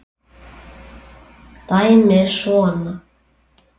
Dæmið er svona